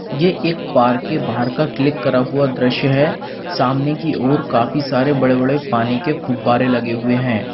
ये एक पार्क के बाहर का क्लिक करा हुआ दृश्य है सामने की ओर काफी सारे बड़े बड़े पानी के फव्वारे लगे हुए हैं।